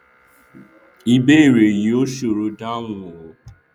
ìbéèrè yìí ò sòro dáhùn o